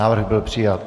Návrh byl přijat.